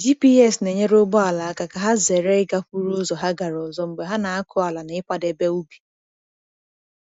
GPS na-enyere ugbo ala aka ka ha zere ịgakwuru ụzọ ha gara ọzọ mgbe ha na-akụ ala na ịkwadebe ubi.